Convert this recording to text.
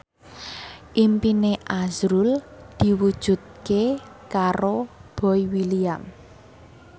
impine azrul diwujudke karo Boy William